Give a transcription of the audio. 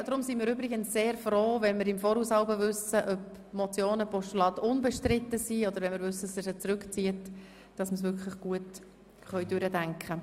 Darum sind wir übrigens sehr froh, wenn wir jeweils im Voraus wissen, ob Motionen und Postulate unbestritten sind oder wenn Sie sie zurückziehen, damit wir das Ganze wirklich gut durchdenken und planen können.